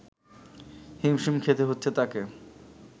হিমশিম খেতে হচ্ছে তাকে